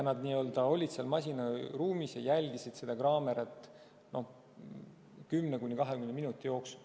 Nad olid masinaruumis ja jälgisid seda kaamerat 10–20 minuti jooksul.